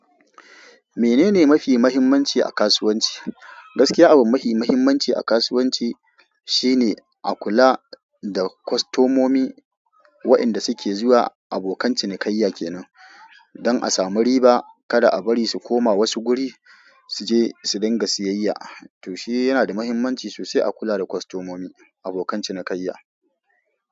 Mene ne mafi mahimmanci a kasuwanci? Gaskiya, abin mafi mahimmanci a kasuwanci shine a kula da kostomomi, waɗanda suke zuwa abokan cinikayya kenan. Don a samu riba, kada a bari su koma wasu guri su je su dinga siyayya. To shi yana da mahimmanci sosai a kula da kostomomi, abokan cinikayya.